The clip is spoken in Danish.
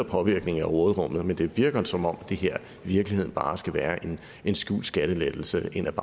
påvirke råderummet mindre men det virker som om det her i virkeligheden bare skal være en skjult skattelettelse ind